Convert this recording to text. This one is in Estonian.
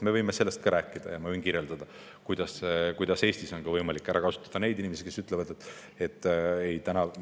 Me võime sellest rääkida ja ma võin kirjeldada, kuidas Eestis on võimalik ära kasutada neid inimesi, kes ütlevad, et midagi sellist ei juhtu.